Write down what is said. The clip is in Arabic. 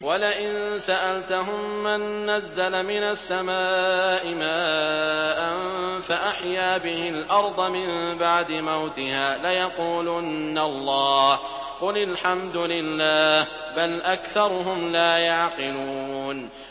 وَلَئِن سَأَلْتَهُم مَّن نَّزَّلَ مِنَ السَّمَاءِ مَاءً فَأَحْيَا بِهِ الْأَرْضَ مِن بَعْدِ مَوْتِهَا لَيَقُولُنَّ اللَّهُ ۚ قُلِ الْحَمْدُ لِلَّهِ ۚ بَلْ أَكْثَرُهُمْ لَا يَعْقِلُونَ